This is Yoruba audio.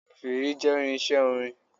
Fèèrè jé irinsé orin